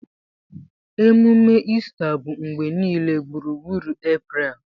Ememe Ista bụ mgbe niile gburugburu April